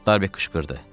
Starbek qışqırdı.